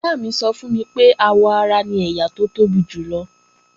Ìyá mi sọ fún mi pé àwọ ara ni ẹ̀yà ara tó tóbi jùlọ